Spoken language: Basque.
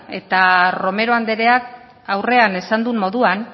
eta romero andreak aurrean esan duen moduan